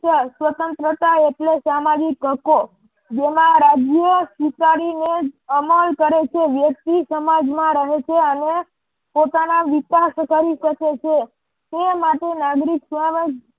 સ્વતંત્રતા એટલે સામાજિક હકો જેમાં રાજ્ય સ્વીકારીને અમલ કરે છે. વૈશ્વી સમાજ માં રહે છે અને પોતાના વિકાસ કરી શકે છે. તે માટે નાગરિક